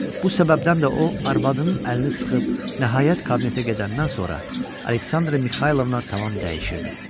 Bu səbəbdən də o arvadının əlini sıxıb, nəhayət kabinetə gedəndən sonra Aleksandra Mixaylovna tamam dəyişirdi.